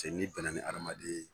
Cɛ n'i bɛnna ni adamaden ye